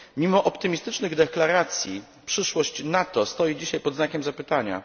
Mimo optymistycznych deklaracji, przyszłość NATO stoi dzisiaj pod znakiem zapytania.